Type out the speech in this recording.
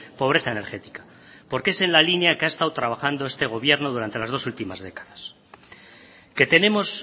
pobreza energética porque es en la línea que ha estado trabajando este gobierno durante las dos ultimas décadas que tenemos